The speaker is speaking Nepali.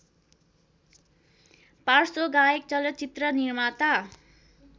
पार्श्वगायक चलचित्र निर्माता